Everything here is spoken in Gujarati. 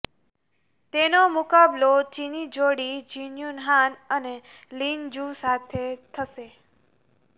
તેનો મુકાબલો ચીની જોડી જિંનયુન હાન અને લિન જૂ સાથે થશે